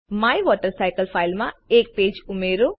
my water cycle ફાઈલમાં એક page ઉમેરો